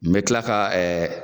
N bɛ kila ka ɛɛ